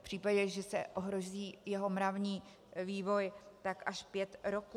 V případě, že se ohrozí jeho mravní vývoj, tak až pět roků.